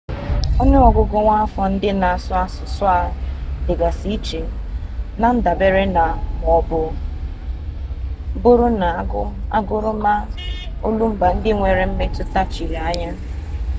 onu ogugu nwaafọ ndị na-asụ asusu ahụ dịgasị iche na-ndabere na ma ọ bụrụ na aguru ma olumba ndị nwere mmetụta chiri anya